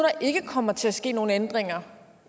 ikke kommer til at ske nogen ændringer